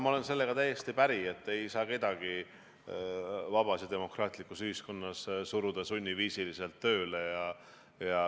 Ma olen sellega täiesti päri, et vabas ja demokraatlikus ühiskonnas ei saa kedagi suruda sunniviisil tööle.